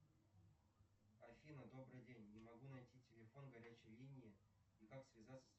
афина добрый день не могу найти телефон горячей линии и как связаться